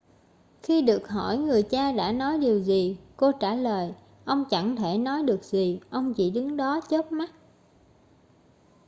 khi được hỏi người cha đã nói điều gì cô trả lời ông chẳng thể nói được gì ông chỉ đứng đó chớp mắt